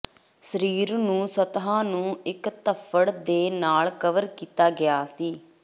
ਸਰੀਰ ਨੂੰ ਸਤਹ ਨੂੰ ਇੱਕ ਧੱਫ਼ੜ ਦੇ ਨਾਲ ਕਵਰ ਕੀਤਾ ਗਿਆ ਸੀ